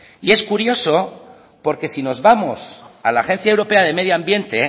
y es curioso porque si nos vamos a la agencia europea de medio ambiente